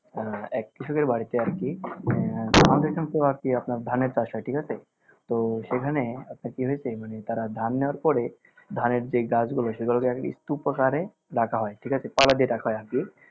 আহ এক কৃষকের বাড়িতে আর কি আর কি আপনার ধানের চাষ হয় ঠিকাছে তো সেখানে একটা কি হইসে মানে তারা ধান নেওয়ার পরে ধানের যে গাছগুলা সেগুলোকে স্তুপ আকারে রাখা হয় ঠিকাছে দিয়ে রাখা হয় আর কি